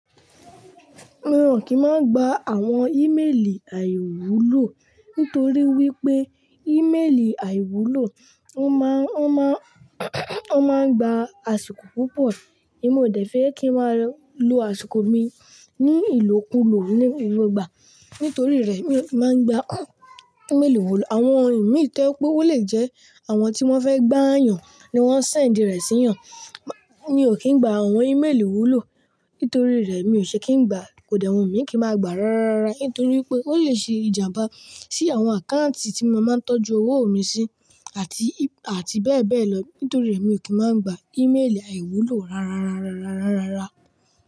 Awa ò kí ń máa gba àwọn ímélì àìwúlò. Nítorí wípé ímélì àìwúlò, wọ́n má, wọ́n má wọ́n máa ń gba àsìkò púpọ̀. Emi o dẹ̀ fé kí ń máa lo àsìkò mi ní ìlòkulò ní ìlú gba. Nítorí rẹ̀ mi máa ń gba ímélì wúlò. Àwọn imí to je pé ó lè jẹ́ àwọn tí wọ́n fẹ́ gbà yàn ni wọ́n sèndì rẹ̀ sí yàn. Mi ò kí ń gba àwọn ímélì wúlò. Nítorí rẹ̀ mi ò ṣe kí ń gba. Kò de wu mí kí n máa gba rárárára. Nítorí pé ó lè ṣe ìjàmbá sí àwọn àkáǹtì tí mo máa ń tọ́jú owó mi sí àti, àti bẹ́ẹ̀ bẹ́ẹ̀ lọ. Nítorí rẹ̀ mi ò kí máa ń gba ímélì àìwúlò rárárárárárárárára.